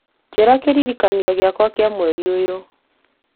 njĩra kĩririkania gĩakwa kĩa mweri ũyũ